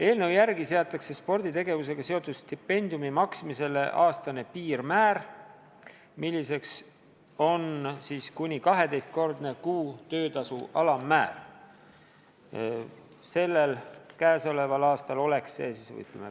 Eelnõu järgi seatakse sporditegevusega seotud stipendiumi maksmisele aastane piirmäär, milleks on kuni 12-kordne kuu töötasu alammäär.